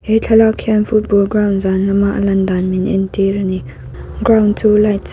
he thlalak hian football ground zan lama a lan dan min entir ani ground chu light --